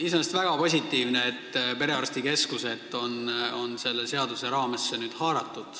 Iseenesest on väga positiivne, et ka perearstikeskused on selle seaduse raamesse haaratud.